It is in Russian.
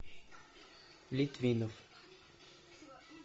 литвинов